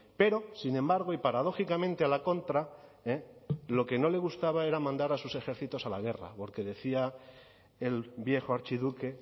pero sin embargo y paradójicamente a la contra lo que no le gustaba era mandar a sus ejércitos a la guerra porque decía el viejo archiduque